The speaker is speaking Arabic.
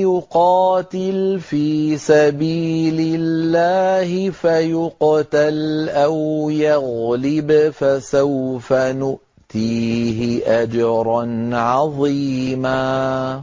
يُقَاتِلْ فِي سَبِيلِ اللَّهِ فَيُقْتَلْ أَوْ يَغْلِبْ فَسَوْفَ نُؤْتِيهِ أَجْرًا عَظِيمًا